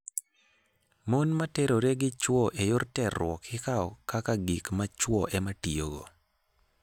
Mon ma terore gi chwo e yor terruok ikawo kaka gik ma chwo ema tiyogo.